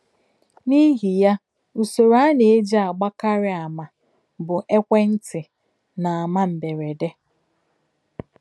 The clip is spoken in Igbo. N’ihi ya, usoro a na - eji agbakarị àmà bụ ekwentị na àmà mberede.